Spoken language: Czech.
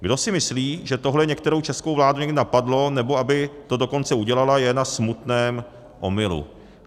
Kdo si myslí, že tohle některou českou vládu někdy napadlo, nebo aby to dokonce udělala, je na smutném omylu.